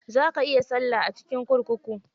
Za ka iya salla a cikin kurkuku.